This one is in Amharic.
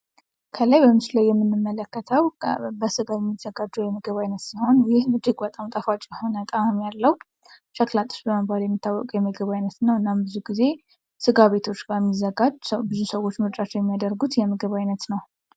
ከላይ በምስሉ ላይ የምንመለከተው በስጋ የሚዘጋጅ የምግብ አይነት ሲሆን። ይህም እጅግ በጣም ጣፋጭ የሆነ ጣዕም ያለው ሸክላ ጥብስ በመባል የሚታወቅ የምግብ አይነት ነው እና ብዙውን ጊዜ ስጋ ቤት ላይ የሚዘጋጅ ብዙ ሰዎች ምርጫቸው የሚያደርጉት የምግብ አይነት ነው።